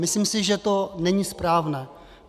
Myslím si, že to není správné.